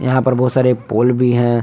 यहां पर बहोत सारे पोल भी है।